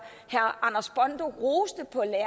herre